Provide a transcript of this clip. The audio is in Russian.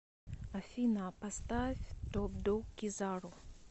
афина поставь топ дог кизару